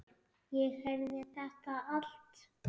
Ég heyrði þetta allt.